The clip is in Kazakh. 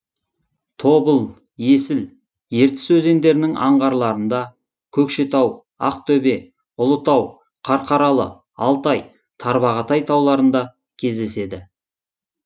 тобыл есіл ертіс өзеңдерінің анғарларында көкшетау ақтөбе ұлытау қарқаралы алтай тарбағатай тауларында кездеседі